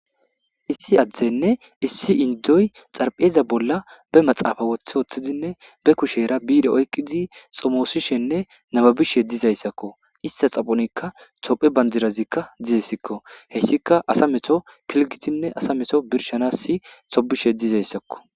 Issi adera issi indora Xaripheza bolla be kushe oyikizi iza xaphonika tophe bandiri desiko izika assa meto birishidasa tobishe dizayisako